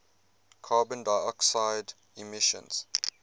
carbon dioxide emissions